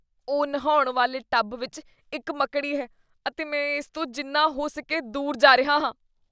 ਓ, ਨਹਾਉਣ ਵਾਲੇ ਟੱਬ ਵਿੱਚ ਇੱਕ ਮੱਕੜੀ ਹੈ ਅਤੇ ਮੈਂ ਇਸ ਤੋਂ ਜਿੰਨਾ ਹੋ ਸਕੇ ਦੂਰ ਜਾ ਰਿਹਾ ਹਾਂ।